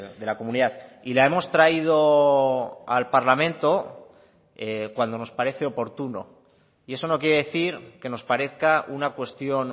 de la comunidad y la hemos traído al parlamento cuando nos parece oportuno y eso no quiere decir que nos parezca una cuestión